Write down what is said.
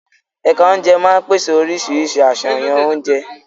Ẹ̀ka oúnjẹ máa ń pèsè oríṣiríṣi àṣàyàn oúnjẹ.